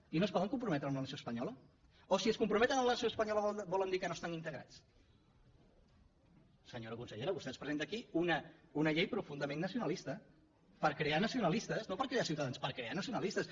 i no es poden comprometre amb la nació espanyola o si es comprometen amb la nació espanyola vol dir que no estan integrats senyora consellera vostè ens presenta aquí una llei pro fundament nacionalista per crear nacionalistes no per crear ciutadans per crear nacionalistes